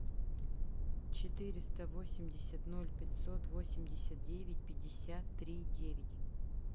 четыреста восемьдесят ноль пятьсот восемьдесят девять пятьдесят три девять